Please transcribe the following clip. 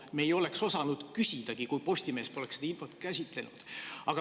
Me ei oleks osanud selle kohta küsidagi, kui Postimees poleks seda infot käsitlenud.